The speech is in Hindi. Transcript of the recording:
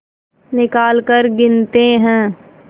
निकालकर गिनते हैं